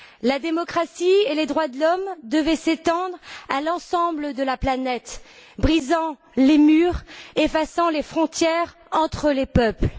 La démocratie et les droits de l'homme devaient s'étendre à l'ensemble de la planète, brisant les murs, effaçant les frontières entre les peuples.